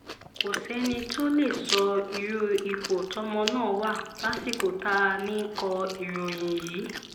kò sẹ́ni tó lè sọ irú ipò tọ́mọ náà wà lásìkò tá à ń kọ ìròyìn yìí